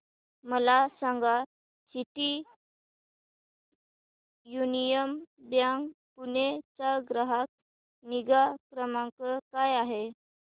मला सांगा City Union Bank Pune चा ग्राहक निगा क्रमांक काय आहे